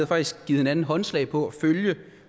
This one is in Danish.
faktisk givet hinanden håndslag på at følge